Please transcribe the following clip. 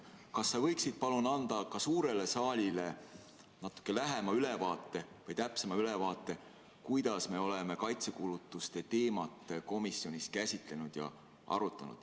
Kas sa võiksid anda ka suurele saalile natuke täpsema ülevaate, kuidas me oleme kaitsekulutuste teemat komisjonis arutanud?